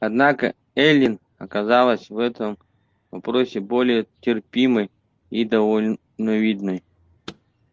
однако эллин оказалась в этом вопросе более терпимой и довольно видной